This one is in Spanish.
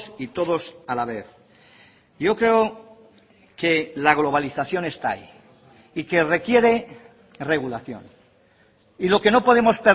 y todos a la vez yo creo que la globalización está ahí y que requiere regulación y lo que no podemos